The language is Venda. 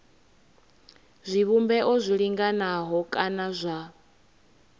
zwivhumbeo zwi linganaho kana zwa